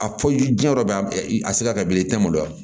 A fɔ diɲɛ yɔrɔ dɔ bɛ a se ka kɛ bilen i tɛ maloya